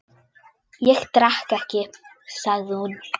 Ég drekk ekki, sagði hún.